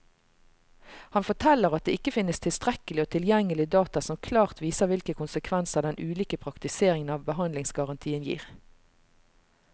Han forteller at det ikke finnes tilstrekkelig og tilgjengelig data som klart viser hvilke konsekvenser den ulike praktiseringen av behandlingsgarantien gir.